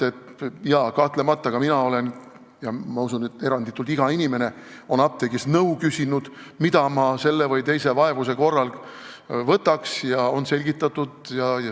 Kahtlemata, ka mina olen – usun, et eranditult iga inimene on – apteegist nõu küsinud, mida ma selle või teise vaevuse korral peaksin võtma, ja on selgitatud.